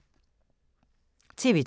TV 2